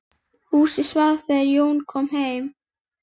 Húsið svaf þegar Jón kom heim.